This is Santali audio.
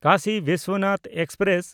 ᱠᱟᱥᱤ ᱵᱤᱥᱥᱚᱱᱟᱛᱷ ᱮᱠᱥᱯᱨᱮᱥ